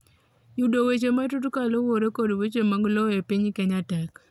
yudo weche matut kaluwore kod weche mag lowo e piny Kenya tek